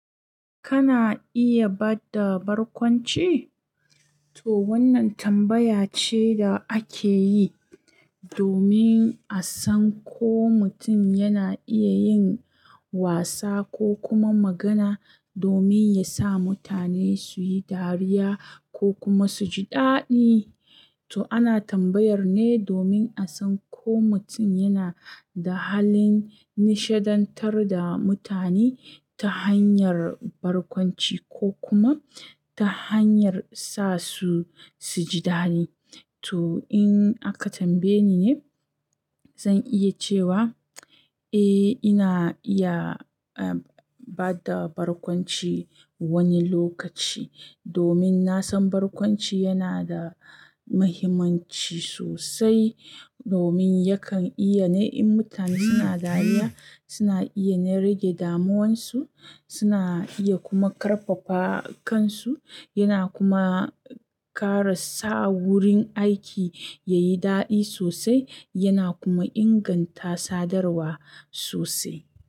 Kana iya ba da barkwanci? To wannan tambaya ce da ake yi domin a san ko mutum yana iya yin wasa ko kuma magana domin yasa mutane su yi dariya ko kuma su ji daɗi. To ana tambayar ne domin a san ko mutum yana da halin nishadantar da mutane ta hanyar barkwanci ko kuma ta hanyar sa su su ji daɗi. To in aka tambaye ni ne, zan iya cewa, eh ina iya, ah, ba da barkwanci wani lokaci domin na san barkwanci yana da mahimmanci sosai, domin yakan iya ne yin mutane suna dariya, suna iya ne rage damuwansu, suna iya kuma ƙarfafa kansu, yana kuma ƙara sa wurin aiki ya yi daɗi sosai, yana kuma inganta sadarwa sosai.